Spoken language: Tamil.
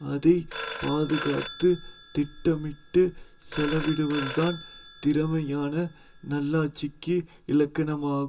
அதை பாதுக்காத்துத் திட்டமிட்டு செலவிடுவதுதான் திறமையான நல்லாட்சிக்கு இலக்கணமாகும்